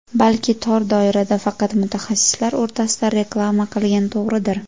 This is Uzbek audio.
Balki tor doirada, faqat mutaxassislar o‘rtasida reklama qilgan to‘g‘ridir?